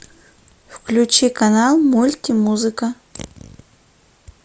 включи канал мультимузыка